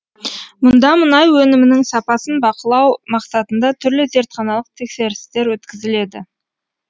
мұнда мұнай өнімінің сапасын бақылау мақсатында түрлі зертханалық тексерістер өткізіледі